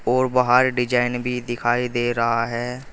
और बाहर डिजाइन भी दिखाई दे रहा है।